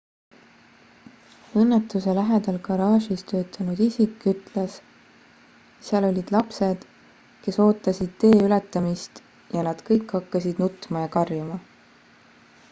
õnnetuse lähedal garaažis töötanud isik ütles seal olid lapsed kes ootasid tee ületamist ja nad kõik hakkasid nutma ja karjuma